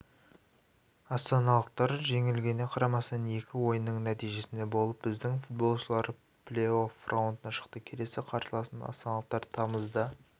астаналықтар жеңілгеніне қарамастан екі ойынның нәтижесінде болып біздің футболшылар плей-офф раундына шықты келесі қарсыласын астаналықтар тамызда